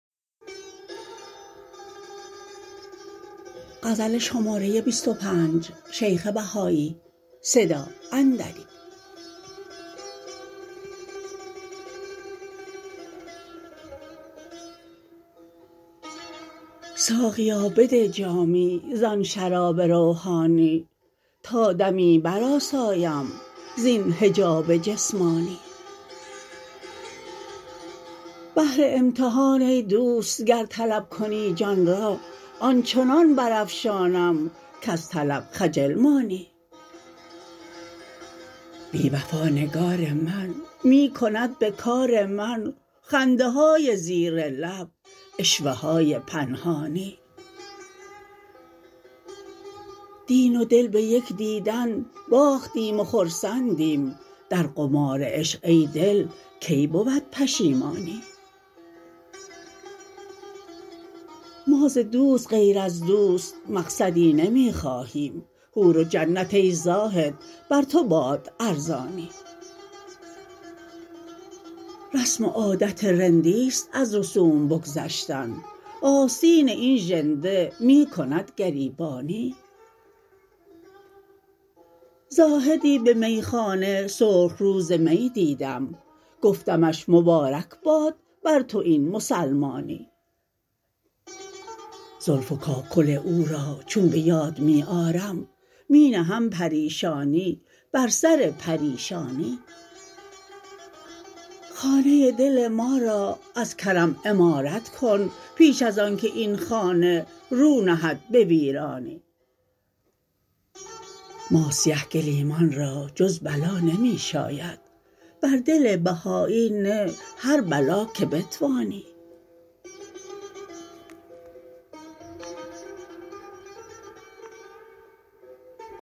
ساقیا بده جامی زآن شراب روحانی تا دمی برآسایم زین حجاب جسمانی بهر امتحان ای دوست گر طلب کنی جان را آن چنان برافشانم کز طلب خجل مانی بی وفا نگار من می کند به کار من خنده های زیر لب عشوه های پنهانی دین و دل به یک دیدن باختیم و خرسندیم در قمار عشق ای دل کی بود پشیمانی ما ز دوست غیر از دوست مقصدی نمی خواهیم حور و جنت ای زاهد بر تو باد ارزانی رسم و عادت رندی ست از رسوم بگذشتن آستین این ژنده می کند گریبانی زاهدی به میخانه سرخ رو ز می دیدم گفتمش مبارک باد بر تو این مسلمانی زلف و کاکل او را چون به یاد می آرم می نهم پریشانی بر سر پریشانی خانه دل ما را از کرم عمارت کن پیش از آن که این خانه رو نهد به ویرانی ما سیه گلیمان را جز بلا نمی شاید بر دل بهایی نه هر بلا که بتوانی